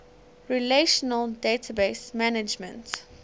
relational database management